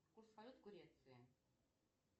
курс валют в греции